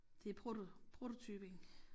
Det proto prototypen